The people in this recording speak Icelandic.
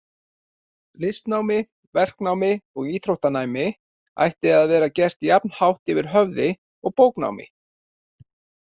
Listnámi, verknámi og íþróttanámi ætti að vera gert jafn hátt yfir höfði og bóknámi.